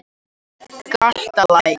Galtalæk